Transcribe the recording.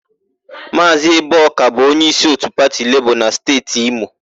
Maazị Eboka bụ onyeísí òtù pati Lebọọ na Steeti Imo.